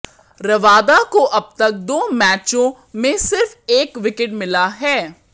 Rabada को अब तक दो मैचों में सिर्फ एक विकेट मिला है